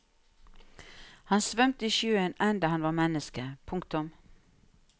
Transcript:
Han svømte i sjøen enda han var menneske. punktum